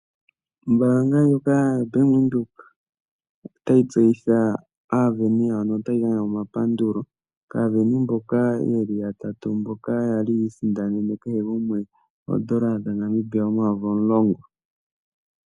Ombaanga ndjoka yaBank Windhoek otayi tseyitha aasindani yawo notayi gandja omapandulo kaasindano mboka ye li yatatu mboka ya li yi isindanene kehe gumwe N$ 10 000.